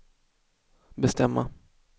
bestämma